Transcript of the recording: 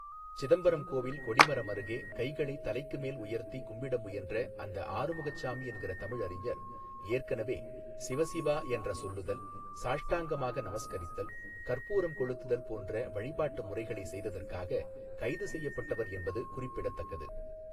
சிதம்பரம் கோவில் கொடிமரம் அருகே கைகளை தலைக்குமேல் உயர்த்தி கும்பிட முயன்ற அந்த ஆறுமுகச்சாமி என்கிற தமிழறிஞர் ஏற்கனவே சிவ சிவா என்ற சொல்லுதல் சாஷ்டங்கமாக நமஸ்கரித்தல் கற்பூரம் கொளுத்துதல் போன்ற வழிபாட்டு முறைகளை செய்ததற்காக கைது செய்யப்பட்டவர் என்பது குறிப்பிடத்தக்கது.